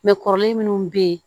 kɔrɔlen minnu bɛ yen